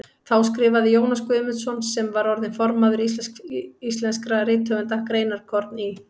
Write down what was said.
Þá skrifaði Jónas Guðmundsson, sem orðinn var formaður Félags íslenskra rithöfunda, greinarkorn í